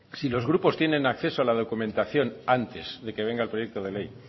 si los grupos tienen acceso a la documentación antes de que venga el proyecto de ley